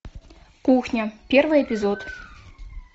кухня первый эпизод